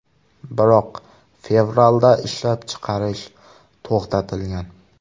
Biroq fevralda ishlab chiqarish to‘xtatilgan.